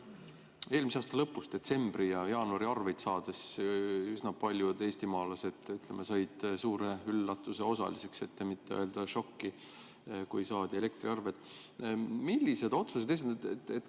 Eelmise aasta lõpu, detsembri ja ka jaanuari arveid nähes üsna paljud eestimaalased said suure üllatuse osaliseks, et mitte öelda šoki osaliseks.